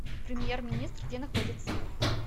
премьер министр где находится